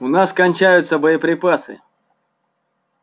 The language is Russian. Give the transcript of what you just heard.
у нас кончаются боеприпасы